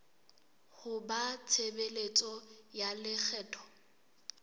ho ba tshebeletso ya lekgetho